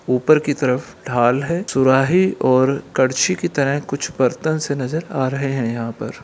ऊपर की तरफ ढाल है सुराही और करछी की तरह कुछ बर्तन से नजर आ रहे है यहाँ पर।